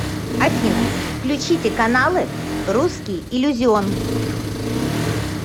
афина включите каналы русский иллюзион